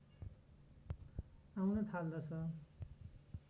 आउन थाल्दछ